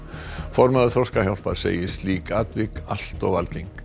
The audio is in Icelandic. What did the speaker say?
formaður Þroskahjálpar segir slík atvik allt of algeng